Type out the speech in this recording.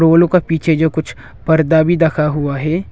उ लोग का पीछे जो कुछ पर्दा भी दखा हुआ है।